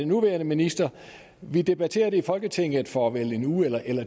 nuværende minister vi debatterede det i folketinget for vel en uges